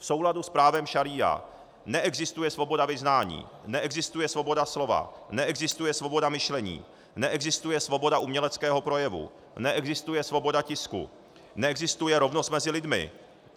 V souladu s právem šaría neexistuje svoboda vyznání, neexistuje svoboda slova, neexistuje svoboda myšlení, neexistuje svoboda uměleckého projevu, neexistuje svoboda tisku, neexistuje rovnost mezi lidmi.